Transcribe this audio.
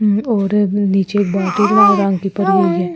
और नीचे परी हुइ है ।